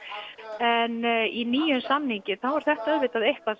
en í nýjum samningi er þetta þetta eitthvað